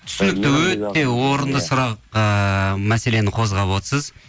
түсінікті өте орынды сұрақ ыыы мәселені қозғап отырсыз